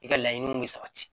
I ka laɲiniw bɛ sabati